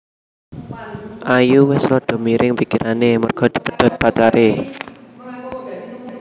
Ayu wes rodo miring pikirane merga dipedhot pacare